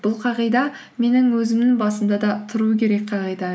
бұл қағида менің өзімнің басымда да тұру керек қағида